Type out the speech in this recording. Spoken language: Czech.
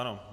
Ano.